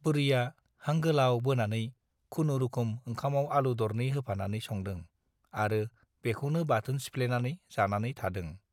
बुरैया हां गोलाव बोनानै खुनुरुखुम ओंखामाव आलु दरनै होफानानै संदों आरो बेखौनो बाथोन सिफ्लेनानै जानानै थादों ।